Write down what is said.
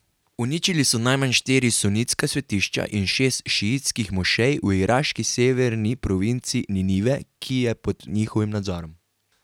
Uničili so najmanj štiri sunitska svetišča in šest šiitskih mošej v iraški severni provinci Ninive, ki je pod njihovim nadzorom.